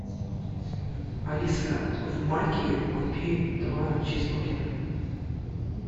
алиса в маке купи два чизбургера